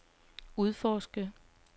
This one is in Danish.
udforsker